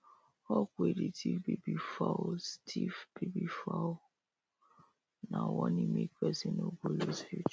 hawk wey dey thief baby fowl thief baby fowl nah warning make person no go loose future